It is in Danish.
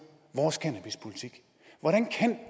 vores cannabispolitik hvordan kan